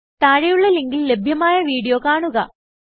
താഴെയുള്ള ലിങ്കിൽ ലഭ്യമായ വീഡിയോ കാണുക